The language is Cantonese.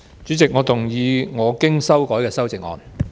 主席，我動議我經修改的修正案。